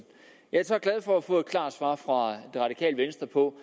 jeg er så glad for at få et klart svar fra det radikale venstre på